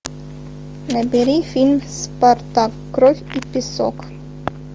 набери фильм спарта кровь и песок